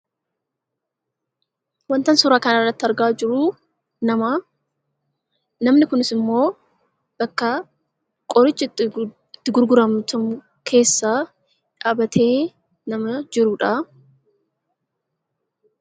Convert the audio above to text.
Wanta ani suuraa kana irratti argaa jiru nama. Namnin argaan jiru kunis immoo bakka qorichi itti gurgaramu keessaa dhaabbatee nama jiruu dha.